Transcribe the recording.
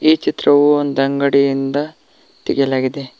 ಈ ಚಿತ್ರವು ಒಂದ ಅಂಗಡಿಯಿಂದ ತೆಗೆಯಲಾಗಿದೆ.